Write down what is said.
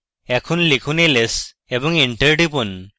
এখন লিখুন ls এবং enter টিপুন